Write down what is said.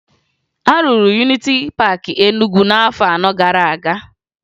A rụrụ Yuniti Paakị Enugwu n'afọ anọ gara aga